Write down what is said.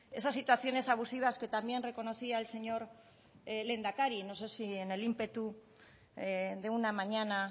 esas situaciones abusivas que también reconocía el señor lehendakari no sé si en el ímpetu de una mañana